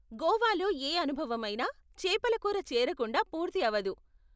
గోవాలో ఏ అనుభవమైనా చేపల కూర చేరకుండా పూర్తి అవదు.